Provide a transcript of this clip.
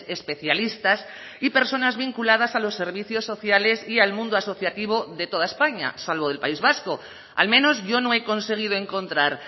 especialistas y personas vinculadas a los servicios sociales y al mundo asociativo de toda españa salvo del país vasco al menos yo no he conseguido encontrar